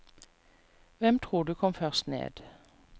Hvem tror du kom først ned?